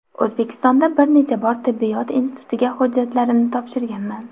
O‘zbekistonda bir necha bor tibbiyot institutiga hujjatlarimni topshirganman.